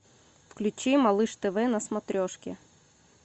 включи малыш тв на смотрешке